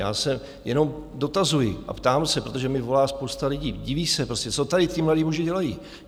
Já se jenom dotazuji a ptám se, protože mi volá spousta lidí, diví se prostě, co tady ti mladí muži dělají.